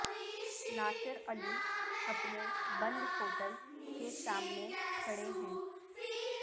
ناصر علی اپنے بند ہوٹل کے سامنے کھڑے ہیں